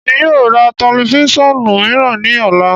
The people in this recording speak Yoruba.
Emi yoo ra tẹlifisiọnu miiran ni ọla.